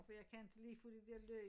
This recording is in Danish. For jeg kan ikke lide at få de der løg